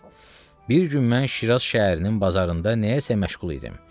Bir gün mən Şiraz şəhərinin bazarında nəyəsə məşğul idim.